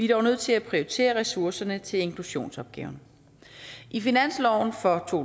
dog nødt til at prioritere ressourcerne til inklusionsopgaven i finansloven for to